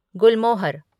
गुलमोहर